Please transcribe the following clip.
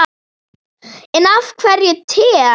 En af hverju te?